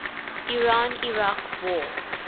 iran iraq war